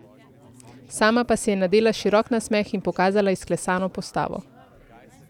Sama pa si je nadela širok nasmeh in pokazala izklesano postavo.